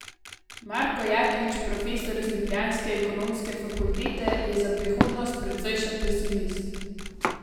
Marko Jaklič, profesor z ljubljanske ekonomske fakultete, je za prihodnost precejšen pesimist.